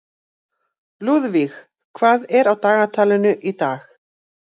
Lúðvíg, hvað er á dagatalinu í dag?